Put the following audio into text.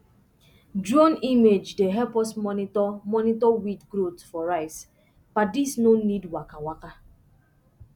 drone image dey help us monitor monitor weed growth for rice paddies no need waka waka